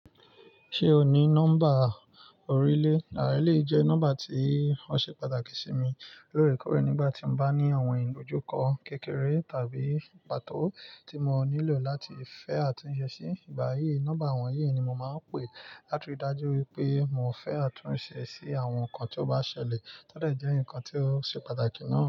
Ṣé o ní nọ́mbà orílẹ̀? Eleyii jẹ́ nọ́mbà tí ó ṣe pàtàkì sí mi lóorèkoore nígbà tí n bá ní àwọn ìlòjúkọ kékeré tàbí pàtó tí mo nílò láti fẹ́ àtúnṣe sí. Ìgbà yìí, nọ́mbà wọ̀nyí ni mo máa ń pè láti rí i dájú wípé mo fẹ́ àtúnṣe sí àwọn nǹkan tí ó bá ṣẹlẹ̀ tọ́ de jẹ́ nǹkan tí ó ṣe pàtàkì náà.